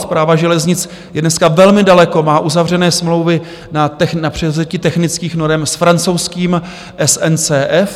Správa železnic je dneska velmi daleko, má uzavřené smlouvy na převzetí technických norem s francouzským SNCF.